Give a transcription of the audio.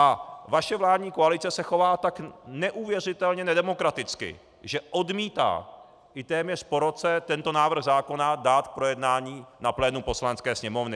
A vaše vládní koalice se chová tak neuvěřitelně nedemokraticky, že odmítá i téměř po roce tento návrh zákona dát k projednání na plénu Poslanecké sněmovny.